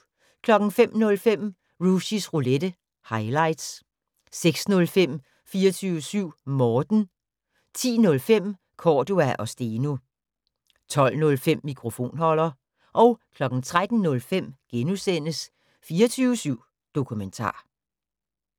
05:05: Rushys Roulette - highlights 06:05: 24syv Morten 10:05: Cordua & Steno 12:05: Mikrofonholder 13:05: 24syv Dokumentar *